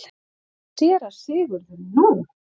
SÉRA SIGURÐUR: Nú?